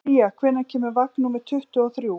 Sía, hvenær kemur vagn númer tuttugu og þrjú?